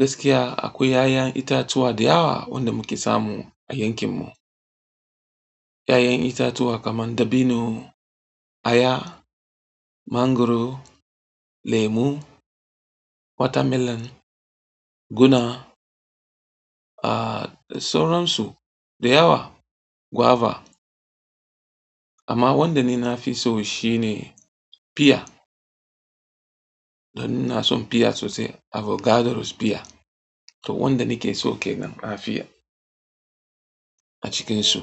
Gaskiya akwai 'ya'yan itatuwa da yawa wanda muke samu a yankin mu. 'Ya'yan itatuwa kaman dabino, aya, mangaro, lemu, watermelon, guna, ah da sauran su da yawa, guava. Amma wanda ni na fi so shi ne pear. To ni na son pear sosai, avocadros pear. To wanda ni ke so kenan afi. A cikinsu.